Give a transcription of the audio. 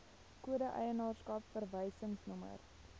kode eienaarskap verwysingsnommer